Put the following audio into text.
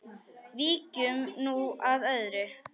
Víkjum nú að öðru.